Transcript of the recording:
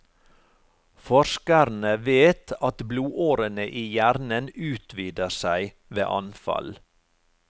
Forskerne vet at blodårene i hjernen utvider seg ved anfall.